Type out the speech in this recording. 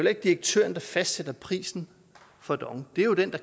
ikke direktøren der fastsætter prisen for dong det er jo den